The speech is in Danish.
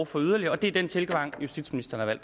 for yderligere det er den tilgang justitsministeren